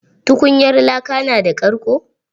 Tukunyar laka na da karƙo?